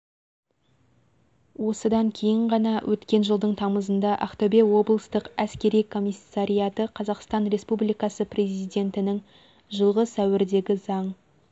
осыдан кейін ғана өткен жылдың тамызында ақтөбе облыстық әскери комиссариаты қазақстан республикасы президентінің жылғы сәуірдегі заң